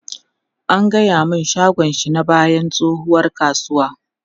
An gaya mun shagon shi na bayan tsohuwar kasuwa.